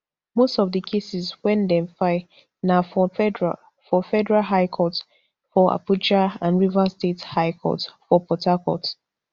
most of di cases wey dem file na for federal for federal high court for abuja and rivers state high court for port harcourt